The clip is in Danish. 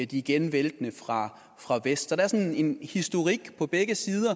de igen væltende fra fra vest der er sådan en historik på begge sider